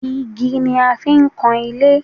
Igi ni a fi ń kan ilé